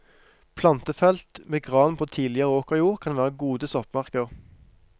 Plantefelt med gran på tidligere åkerjord kan være gode soppmarker.